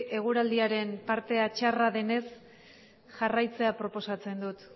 eguraldiaren partea txarra denez jarraitzea proposatzen dut